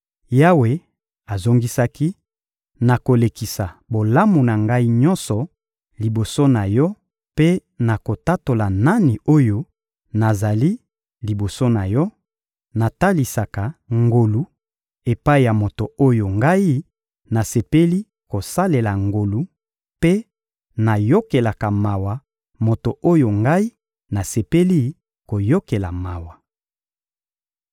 Yawe azongisaki: — Nakolekisa bolamu na Ngai nyonso liboso na yo mpe nakotatola nani oyo nazali liboso na yo; natalisaka ngolu epai ya moto oyo Ngai nasepeli kosalela ngolu, mpe nayokelaka mawa moto oyo Ngai nasepeli koyokela mawa.